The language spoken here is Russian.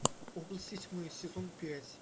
области тьмы сезон пять